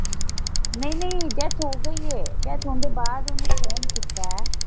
ਨਹੀਂ ਨਹੀਂ ਡੈਥ ਹੋ ਗਈ ਏ ਡੈਥ ਹੋਣ ਦੇ ਬਾਅਦ ਓਹਨੂੰ ਫੋਨ ਕੀਤਾ ਹੈ।